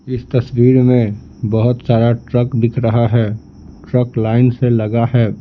इस तस्वीर में बहुत सारा ट्रक दिख रहा है ट्रक लाइन से लगा है।